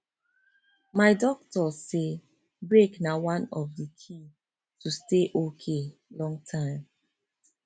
my doctor say break na one of the key to stay okay longterm